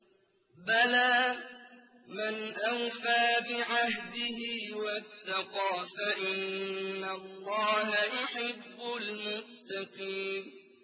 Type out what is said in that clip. بَلَىٰ مَنْ أَوْفَىٰ بِعَهْدِهِ وَاتَّقَىٰ فَإِنَّ اللَّهَ يُحِبُّ الْمُتَّقِينَ